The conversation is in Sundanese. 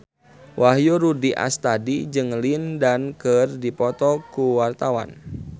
Wahyu Rudi Astadi jeung Lin Dan keur dipoto ku wartawan